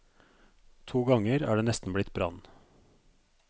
To ganger er det nesten blitt brann.